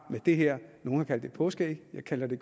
med det her nogle har kaldt det et påskeæg jeg kalder det